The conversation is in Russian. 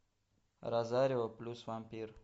розарио плюс вампир